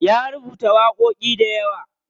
Ya rubuta waƙoƙi dayawa.